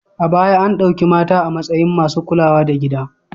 A baya an ɗauki mata a matsayin masu kulawa da gida.